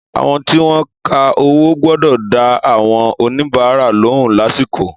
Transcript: Àwọn tí wọn ka owó gbọ́dọ̀ dá àwọn oníbàárà lóhùn lásìkò.